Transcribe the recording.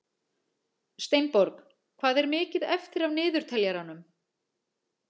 Steinborg, hvað er mikið eftir af niðurteljaranum?